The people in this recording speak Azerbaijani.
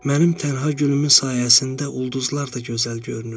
Mənim tənha gülümün sayəsində ulduzlar da gözəl görünür.